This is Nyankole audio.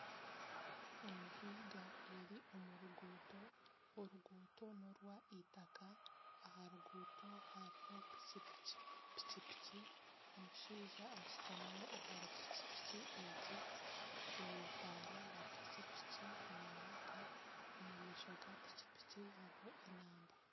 Entwinga eri omu ruguuto, oruguuto norwa itaaka aha ruguuto hariho piiki piiki, omushaija ashutami aha piiki piiki egi etaara ya piiki piiki neyaka omu maisho ga piiki piiki hariho enamba.